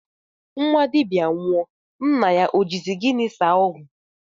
Nnwa dibịa nwụọ, nna ya o jizi gịnị saa ọgwụ?